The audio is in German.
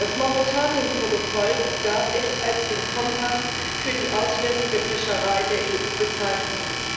Das Mauretanien Protokoll darf ich als den Kompass für die auswärtige Fischerei der EU bezeichnen.